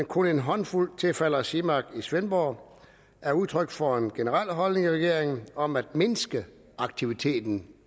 kun en håndfuld tilfalder simac i svendborg er udtryk for en generel holdning i regeringen om at mindske aktiviteten